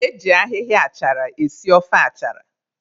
Eji ahịhịa achara esi ofe achara.